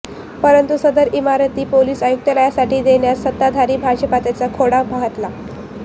परंतु सदर इमारत पोलीस आयुक्तालयासाठी देण्यास सत्ताधारी भाजपानेच खोडा घातला